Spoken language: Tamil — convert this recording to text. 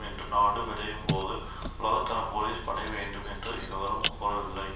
என்று நாடு விடையும்போது உலகத்தர போலீஸ் படை வேண்டும் என்று எவரும் கோரவில்லை